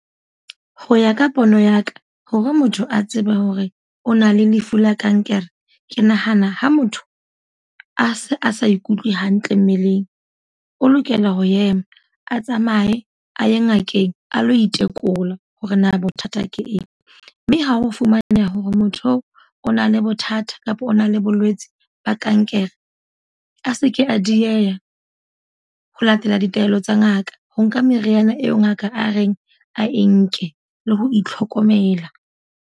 Ho ya ka pono ya ka, hore motho a tsebe hore o na le lefu la kankere. Ke nahana ha motho, a se a sa ikutlwe hantle mmeleng. O lokela ho ema, a tsamaye a ye ngakeng a lo itekola hore na bothata ke eng. Mme ha ho fumananeha hore motho oo o na le bothata kapa o na le bolwetsi ba kankere. A seke a dieha ho latela ditaelo tsa ngaka, ho nka meriana eo ngaka a reng a e nke le ho itlhokomela.